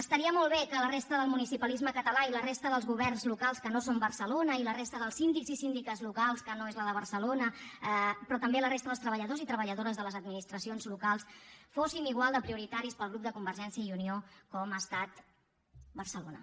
estaria molt bé que la resta del municipalisme català i la resta dels governs locals que no són barcelona i la resta dels síndics i síndiques locals que no són els de barcelona però també la resta dels treballadors i treballadores de les administracions locals fóssim igual de prioritaris per al grup de convergència i unió com ho ha estat barcelona